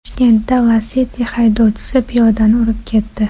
Toshkentda Lacetti haydovchisi piyodani urib ketdi.